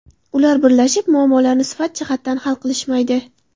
Ular birlashib, muammolarni sifat jihatdan hal qilishmaydi.